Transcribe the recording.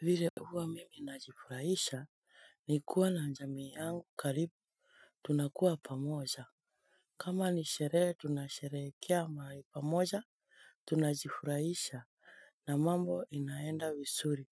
Vile huwa mimi najifurahisha ni kuwa na jamii yangu karibu tunakuwa pamoja kama ni sherehe tunasherehekea mali pamoja tunajifurahisha na mambo inaenda vizuri